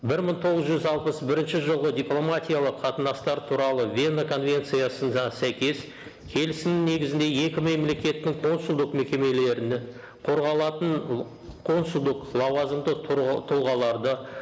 бір мың тоғыз жүз алпыс бірінші жылғы дипломатиялық қатынастар туралы вена конвенциясы сәйкес келісім негізінде екі мемлекеттің консулдық мекемелерінің қорғалатын консулдық лауазымды тұлғаларды